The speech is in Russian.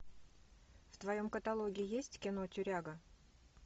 в твоем каталоге есть кино тюряга